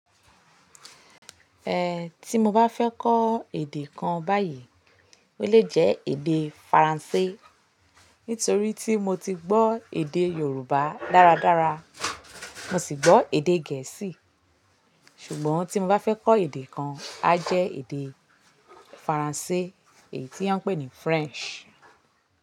Eh, tí mo bá fẹ́ kọ́ èdè kan báyìí, ó lè jẹ́ èdè Faransé. Nítorí tí mo ti gbọ́ èdè Yorùbá dáradára, mo sì gbọ́ èdè Gẹ̀ẹ́sì. Ṣùgbọ́n tí mo bá fẹ́ kọ́ èdè kan, a jẹ́ èdè Faransé èyí tí wọ́n ń pè ní French.